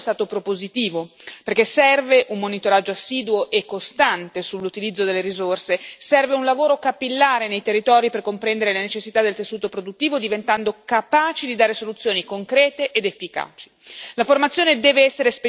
Il nostro lavoro su questo documento è stato propositivo, perché serve un monitoraggio assiduo e costante sull'utilizzo delle risorse, serve un lavoro capillare nei territori per comprendere le necessità del tessuto produttivo, diventando capaci di dare soluzioni concrete ed efficaci.